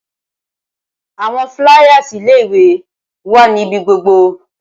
Awọn fliers ile-iwe wa nibi gbogbo